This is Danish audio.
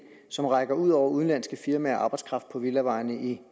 som rækker ud over udenlandske firmaer og arbejdskraft på villavejene i